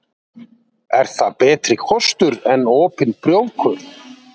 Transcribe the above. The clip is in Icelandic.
Er það betri kostur en opin prófkjör?